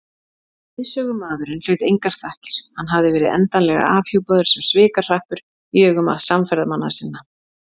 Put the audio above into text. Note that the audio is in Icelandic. Leiðsögumaðurinn hlaut engar þakkir, hann hafði verið endanlega afhjúpaður sem svikahrappur í augum samferðamanna sinna.